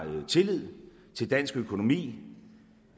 tillid til dansk økonomi